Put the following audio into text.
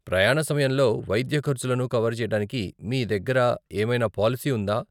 ప్రయాణ సమయంలో వైద్య ఖర్చులను కవర్ చేయడానికి మీ దగ్గర ఏమైనా పాలసీ ఉందా ?